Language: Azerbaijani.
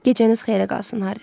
Gecəniz xeyrə qalsın, Harri.